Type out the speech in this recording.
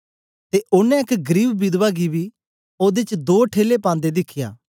ते ओनें एक गरीब विधवा गी बी ओदे च दो ठेले पांदे दिखया